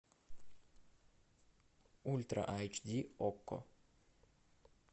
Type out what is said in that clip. ультра айч ди окко